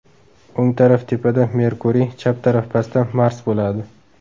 O‘ng taraf tepada Merkuriy, chap taraf pastda Mars bo‘ladi.